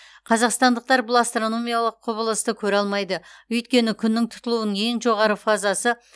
қазақстандықтар бұл астрономиялық құбылысты көре алмайды өйткені күннің тұтылуының ең жоғары фазасы